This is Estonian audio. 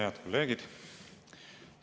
Head kolleegid!